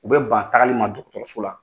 U bɛ ban tagali ma so la.